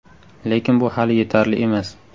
Lekin bu hali yetarli emas.